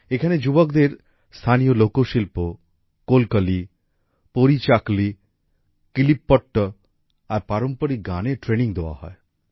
এখানে যুবকদের স্থানীয় লোকশিল্প কোলকলি পরীচাকলি কিলিপ্পট্ট্ আর পারম্পরিক গানের ট্রেনিং দেওয়া হয়